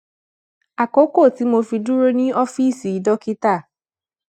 àkókò tí mo fi dúró ní ófíìsì dókítà